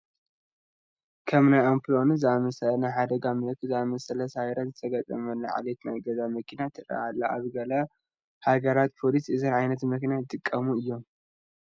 ከም ናይ ኣምፑላንስ ዝኣምሰለ ናይ ሓደጋ ምልክት ዝኣምሰለ ሳይረን ዝተገጠመላ ዓሌት ናይ ገዛ መኪና ትርአ ኣላ፡፡ ኣብ ገለ ሃገራት ፖሊስ እዘን ዓይነት መኪና ይጥቀሙ እዮም፡፡